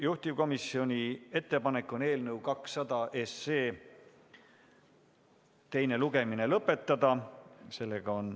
Juhtivkomisjoni ettepanek on eelnõu 200 teine lugemine lõpetada.